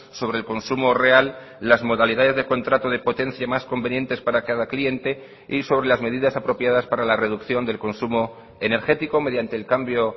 sobre el consumo real las modalidades de contrato de potencia más convenientes para cada cliente y sobre las medidas apropiadas para la reducción del consumo energético mediante el cambio